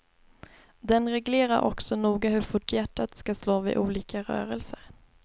Den reglerar också noga hur fort hjärtat ska slå vid olika rörelser.